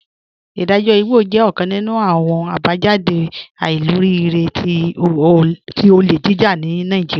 Idajọ igbọ jẹ ọkan nínu awọn abajáde àìlòríìrẹ̀ tí ọlé jíjà ni Naijíríà.